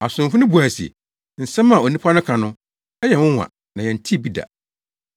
Asomfo no buae se, “Nsɛm a onipa no ka no, ɛyɛ nwonwa na yɛntee bi da.”